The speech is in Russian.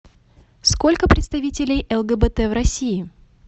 сколько представителей лгбт в россии